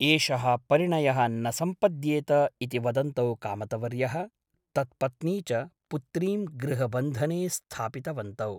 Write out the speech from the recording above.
एषः परिणयः न सम्पद्येत ' इति वदन्तौ कामतवर्यः तत्पत्नी च पुत्रीं गृहबन्धने स्थापितवन्तौ ।